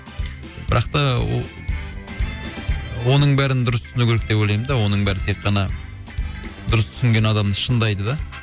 бірақ та о оның бәрін дұрыс түсіну керек деп ойлаймын да оның бәрін тек қана дұрыс түсінген адамды шыңдайды да